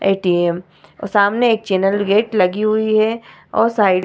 ATM. और सामने एक चैनल गेट लगी हुई है और साइड --